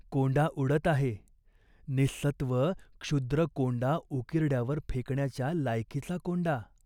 कोंडा उडत आहे. निःसत्त्व क्षुद्र कोंडा उकिरड्यावर फेकण्याच्या लायकीचा कोंडा.